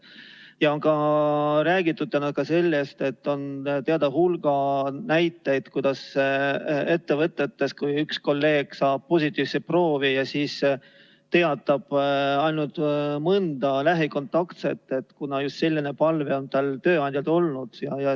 Ja täna on räägitud ka sellest, et on teada hulga näiteid, et kui üks kolleeg saab positiivse proovi, siis teatab ta ainult mõnest lähikontaktsest, kuna just selline palve on talle tööandjalt olnud.